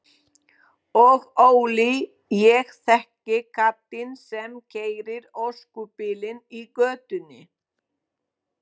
Og Óli, ég þekki kallinn sem keyrir öskubílinn í götunni.